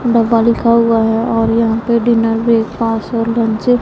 डब्बा लिखा हुआ है और यहां पे डिनर ब्रेकफास्ट और लंच --